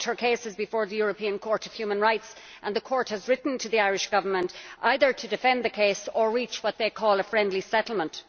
the moment her case is before the European Court of Human Rights and the Court has written to the Irish Government either to defend the case or reach what they call a friendly settlement.